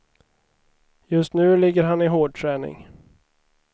Just nu ligger han i hårdträning.